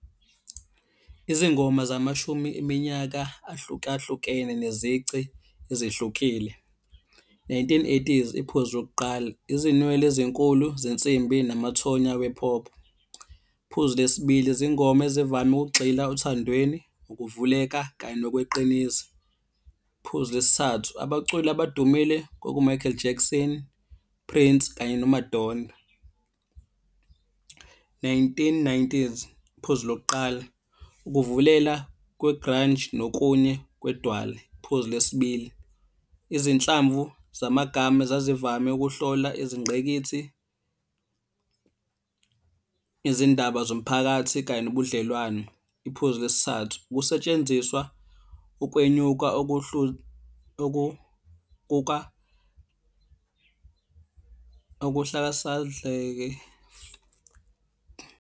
Izingoma zamashumi iminyaka ahlukahlukene nezici ezihlukile. Nineteen eighties, iphuzu lokuqala, izinwele ezinkulu zensimbi namathonya we-pop. Phuzu le sibili, izingoma ezivame ukugxila othandweni, ukuvuleka kanye nokweqiniso. Phuzu lesi thathu, abaculi abadumile kwaku-Michael Jackson, Prince kanye no-Madonna. Nineteen nineties, phuzu lokuqala, ukuvulela kwe-grunge nokunye kwedwale. Phuzu le sibili, izinhlamvu zamagama zazivame ukuhlola izingqikithi, izindaba zomphakathi kanye nobudlelwane. Iphuzu lesi thathu, ukusetshenziswa ukwenyuka .